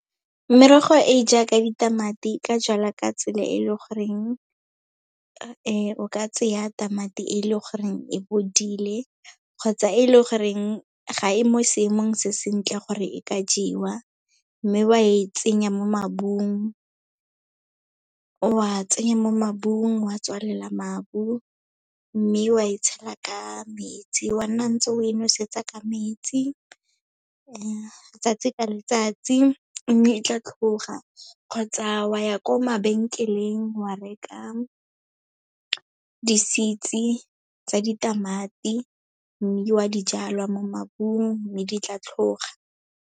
Merogo e e jaaka ditamati, e ka jalwa ka tsela e leng goreng o ka tseya tamati e leng goreng e bodile kgotsa e leng gore ga e mo seemong se sentle gore e ka jewa, mme wa e tsenya mo mabung. Wa tsenya mo mabung wa tswalela mabu, mme wa e tshela ka metsi, wa nna ntse o e nosetsa ka metsi letsatsi ka letsatsi, mme e tla tlhoga. Kgotsa wa ya kwa mabenkeleng, wa reka di-seeds-e tsa ditamati, mme wa dijalwa mo mabung mme di tla tlhoga.